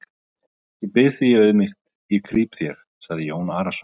Ég bið þig í auðmýkt, ég krýp þér, sagði Jón Arason.